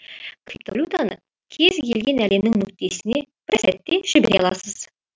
криптовалютаны кез келген әлемнің нүктесіне бір сәтте жібере аласыз